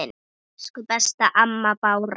Elsku besta amma Bára.